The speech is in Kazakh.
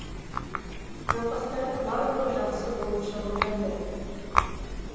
науқастардың барлығы жақсы болып шығып жатыр